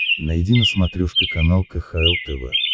найди на смотрешке канал кхл тв